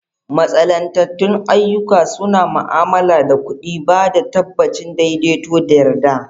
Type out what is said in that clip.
Mantsalantattun ayyuka suna ma'amala da kuɗi, ba da tabbacin daidaito da yarda.